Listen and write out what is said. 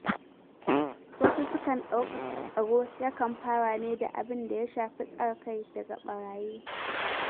Wasu sukan dauka dauka tsaro yakan fara ne da abin da ya shafi tsare kai daga barayi